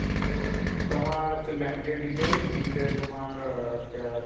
তোমার হচ্ছে bank এর details তিনটে তোমার আহ আহ